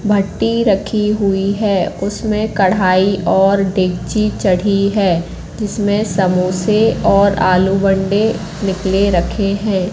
भट्टी रखी हुई है उसमें कढ़ाई और डेकची चढ़ी है जिसमें समोसे और आलू बंडे निकले रखे हैं।